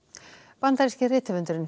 bandaríski rithöfundurinn